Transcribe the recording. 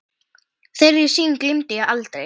Þeirri sýn gleymi ég aldrei.